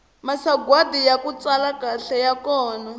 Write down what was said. masagwadi yaku tsala kahle ya kona